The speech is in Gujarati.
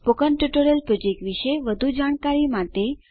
સ્પોકન ટ્યુટોરીયલ પ્રોજેક્ટ વિશે વધુ જાણકારી માટે